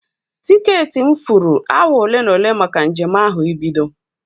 Tiketị m furu awa ole na ole maka njem ahụ ibido.